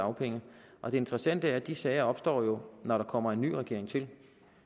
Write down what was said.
dagpenge og det interessante er at de sager jo opstår når der kommer en ny regering til